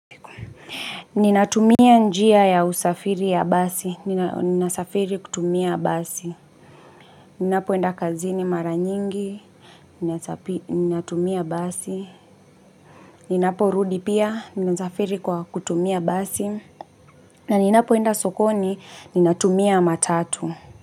Ninatumia njia ya usafiri ya basi, ninasafiri kutumia basi Ninapoenda kazini mara nyingi Ninatumia basi Ninapo rudi pia ninasafiri kwa kutumia basi na ninapoenda sokoni ninatumia matatu.